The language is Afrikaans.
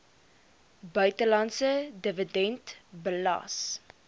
buitelandse dividend belas